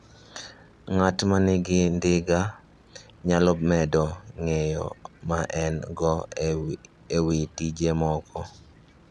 Ng'at ma nigi ndiga nyalo medo ng'eyo ma en-go e wi tije moko.